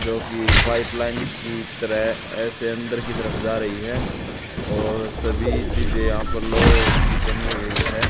जो कि pipeline की तरह ऐसे अंदर की तरफ जा रही है और सभी चीज यहां पर लौह की बनी हुई है।